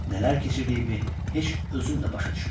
Nələr keçirdiyimi heç özüm də başa düşmürdüm.